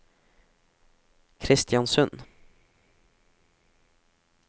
Kristiansund